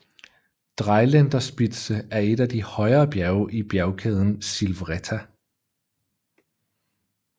Dreiländerspitze er et af de højere bjerge i bjergkæden Silvretta